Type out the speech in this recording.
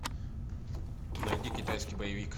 найди китайский боевик